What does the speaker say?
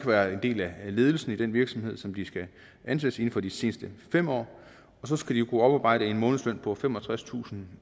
været en del af ledelsen i den virksomhed som de skal ansættes i inden for de seneste fem år og så skal de kunne oparbejde en månedsløn på femogtredstusinde